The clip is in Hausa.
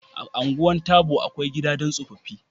A Ungwan Tabo, akwai Gida don tsofaffi